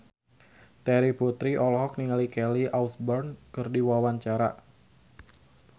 Terry Putri olohok ningali Kelly Osbourne keur diwawancara